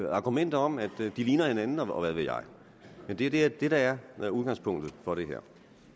argumenter om at de ligner hinanden og hvad ved jeg men det er det der er udgangspunktet for det her